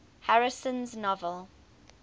harrison's novel true